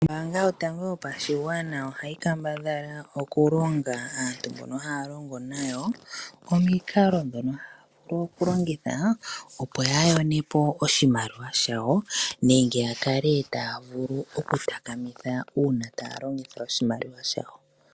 Ombaanga yotango yopashigwana ohayi kambadhala okulonga aantu mbono haya longo nayo omikalo ndhono taya vulu okulongitha opo yayonepo oshimaliwa shawo nenge yakale taya vulu okutakamitha uuna taya longitha oshimaliwa shawo.